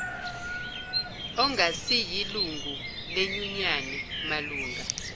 ongasiyilungu lenyunyane malunga